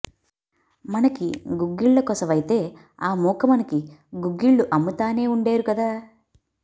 మనకి గుగ్గిళ్ళకోసవైతే ఆ మూక మనకి గుగ్గిళ్ళు అమ్మతానే వుండేరు కదా